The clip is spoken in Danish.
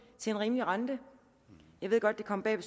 til en rimelig rente jeg ved godt det kommer bag